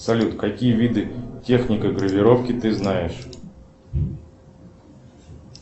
салют какие виды техники гравировки ты знаешь